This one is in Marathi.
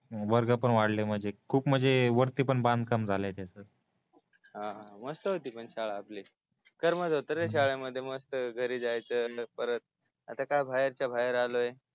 वर्ग पण वाढले म्हणजे खूप म्हणजे वरती पण बांधकाम झाल आहे त्याच हा मस्त होती पण शाळा आपली करमत होत रे शाळे मध्ये मस्त घरी जायचं आणि परत आता काय बाहेरच बाहेर आलोय